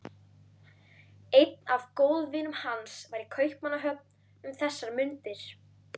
Einn af góðvinum hans var í Kaupmannahöfn um þessar mundir.